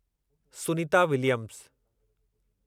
Sunita Williams